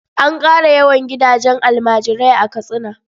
An ƙara yawan gidajen almajirai a Katsina.